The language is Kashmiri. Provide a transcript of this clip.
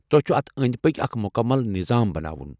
تۄہہ چُھو اتھ أنٛدۍ پٔکۍ اکھ مکمل نظام بناوُن ۔